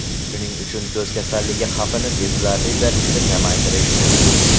Shuning uchun ko‘z kasalligi xavfini sezilarli darajada kamaytirish mumkin.